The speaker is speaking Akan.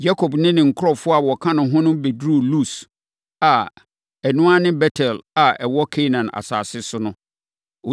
Yakob ne ne nkurɔfoɔ a wɔka ne ho no bɛduruu Lus a ɛno ara ne Bet-El a ɛwɔ Kanaan asase so no.